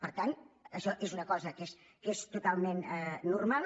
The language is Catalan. per tant això és una cosa que és totalment normal